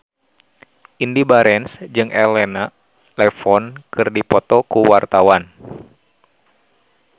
Indy Barens jeung Elena Levon keur dipoto ku wartawan